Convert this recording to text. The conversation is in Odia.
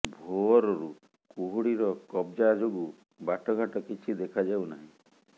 ଭୋରରୁ କୁହୁଡିର କବଜା ଯୋଗୁଁ ବାଟଘାଟ କିଛି ଦେଖା ଯାଉ ନାହିଁ